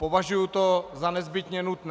Považuji to za nezbytně nutné.